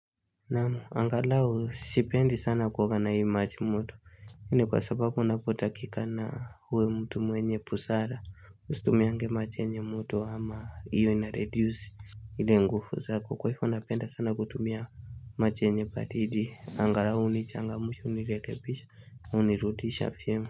Naam angalau sipendi sana kuoga na hii maji moto Hii ni kwa sababu unapotakikana uwe mtu mwenye busara usitumiange maji mwoto ama hiyo inareduce ile nguvu zako kwa hivyo napenda sana kutumia maji yenye baridi angalau nichangamshe unirekebisha unirudisha vyema.